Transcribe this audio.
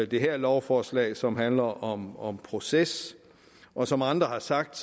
det her lovforslag som handler om om proces og som andre har sagt